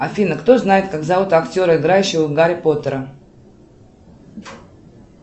афина кто знает как зовут актера играющего гарри поттера